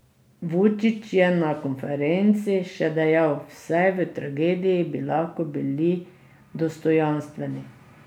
Vučić je na konferenci še dejal: "Vsaj v tragediji bi lahko bili dostojanstveni.